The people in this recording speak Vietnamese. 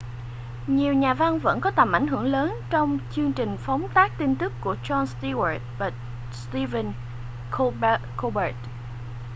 nhiều nhà văn vẫn có tầm ảnh hưởng lớn trong chương trình phóng tác tin tức của jon stewart và stephen colbert